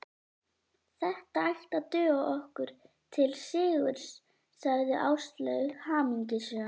Þetta ætti að duga okkur til sigurs sagði Áslaug hamingjusöm.